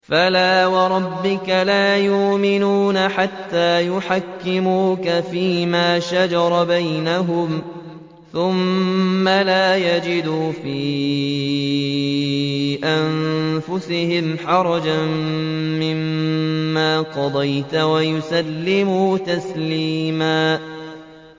فَلَا وَرَبِّكَ لَا يُؤْمِنُونَ حَتَّىٰ يُحَكِّمُوكَ فِيمَا شَجَرَ بَيْنَهُمْ ثُمَّ لَا يَجِدُوا فِي أَنفُسِهِمْ حَرَجًا مِّمَّا قَضَيْتَ وَيُسَلِّمُوا تَسْلِيمًا